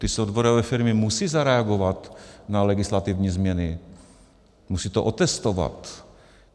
Ty softwarové firmy musí zareagovat na legislativní změny, musí to otestovat.